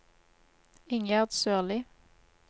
Ingjerd Sørli